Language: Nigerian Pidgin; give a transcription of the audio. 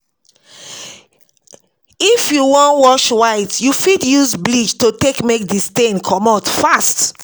If you wan wash white, you fit use bleach to take make di stain comot fast